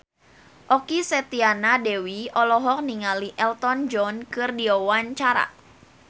Okky Setiana Dewi olohok ningali Elton John keur diwawancara